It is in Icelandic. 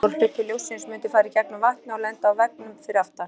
Stór hluti ljóssins mundi fara í gegnum vatnið og lenda á veggnum fyrir aftan.